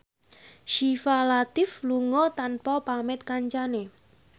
Syifa Latief lunga tanpa pamit kancane